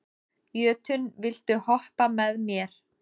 Jötunn, viltu hoppa með mér?